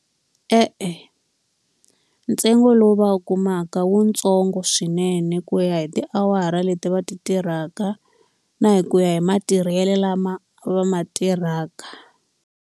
E-e, ntsengo lowu va wu kumaka i wu ntsongo swinene ku ya hi tiawara leti va ti tirhaka, na hi ku ya hi matirhelo lama va ma tirhaka.